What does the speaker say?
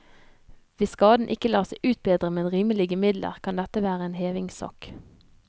Hvis skaden ikke lar seg utbedre med rimelige midler, kan dette være en hevingssak.